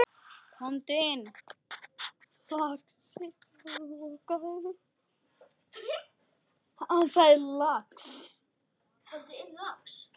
Komdu inn, lagsi, og lokaðu!